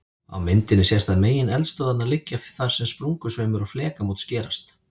Á myndinni sést að megineldstöðvarnar liggja þar sem sprungusveimur og flekamót skerast.